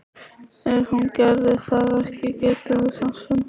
Ef hún gerði það ekki getum við samt fundið hana.